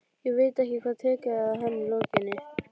Ég veit ekki hvað tekur við að henni lokinni.